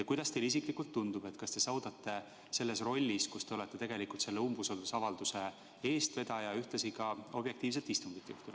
Kuidas teile isiklikult tundub, kas te suudate selles rollis, et olete selle umbusaldusavalduse eestvedaja, ühtlasi ka objektiivselt istungit juhatada?